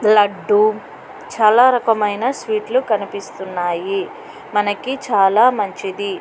లడ్డూ చాలా రకమైన స్వీటులు కనిపిస్తున్నాయి. మనకి చాలా మంచిది.